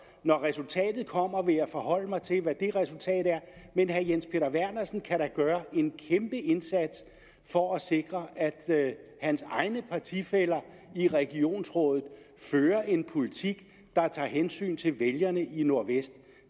når resultatet kommer vil jeg forholde mig til hvad det resultat er men herre jens peter vernersen kan da gøre en kæmpe indsats for at sikre at hans egne partifæller i regionsrådet fører en politik der tager hensyn til vælgerne i nordvestjylland